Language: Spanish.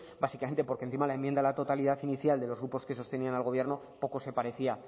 básicamente porque encima la enmienda a la totalidad inicial de los grupos que sostenían al gobierno poco se parecía